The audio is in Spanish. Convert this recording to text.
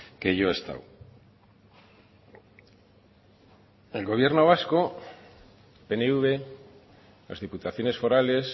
que yo he estado el gobierno vasco pnv las diputaciones forales